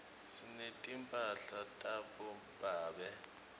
sinetimphala tabobabe